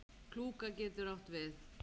Klúka getur átt við